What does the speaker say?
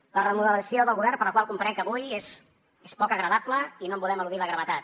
la remodelació del govern per la qual comprenc avui és poc agradable i no en volem eludir la gravetat